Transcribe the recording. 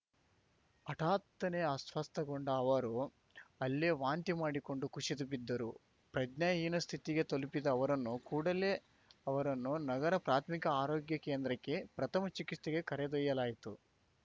ಹಠಾತ್ತನೇ ಅಸ್ವಸ್ಥಗೊಂಡ ಅವರು ಅಲ್ಲೇ ವಾಂತಿ ಮಾಡಿಕೊಂಡು ಕುಸಿದು ಬಿದ್ದರು ಪ್ರಜ್ಞಾ ಹೀನ ಸ್ಥಿತಿಗೆ ತಲುಪಿದ ಅವರನ್ನು ಕೂಡಲೇ ಅವರನ್ನು ನಗರ ಪ್ರಾಥಮಿಕ ಆರೋಗ್ಯ ಕೇಂದ್ರಕ್ಕೆ ಪ್ರಥಮ ಚಿಕಿತ್ಸೆಗೆ ಕರೆದೊಯ್ಯಲಾಯಿತು